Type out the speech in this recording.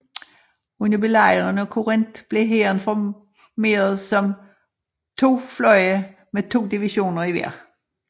Under Belejringen af Corinth blev hæren formeret som to fløje med to divisioner i hver